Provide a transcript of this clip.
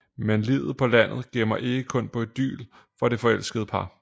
Men livet på landet gemmer ikke kun på idyl for det forelskede par